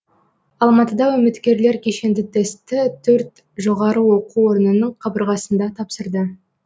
алматыда үміткерлер кешенді тестті төрт жоғары оқу орнының қабырғасында тапсырды